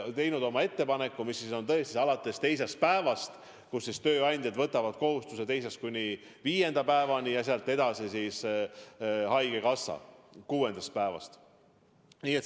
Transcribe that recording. Nad on teinud ettepaneku maksta alates teisest päevast: tööandjad võtavad kohustuse maksta teisest kuni viienda päevani ja sealt edasi, alates kuuendast maksaks haigekassa.